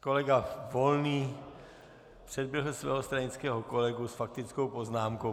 Kolega Volný předběhl svého stranického kolegu s faktickou poznámkou.